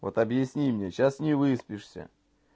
вот объясни мне сейчас не выспишься